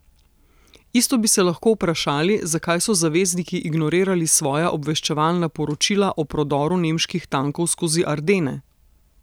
Isto bi se lahko vprašali zakaj so zavezniki ignorirali svoja obveščevalna poročila o prodoru nemških tankov skozi Ardene?